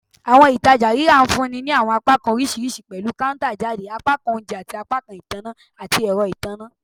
Awọn ibi-itaja rira nfunni ni awọn apakan oriṣiriṣi pẹlu counter-jade, apakan ounjẹ, ati apakan itanna ati ẹrọ itanna